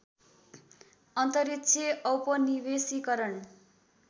अन्तरिक्ष औपनिवेशीकरण